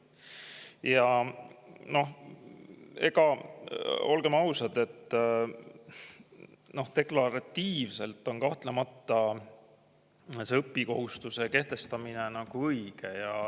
Ja noh, olgem ausad, deklaratiivselt on kahtlemata õppimiskohustuse kehtestamine õige.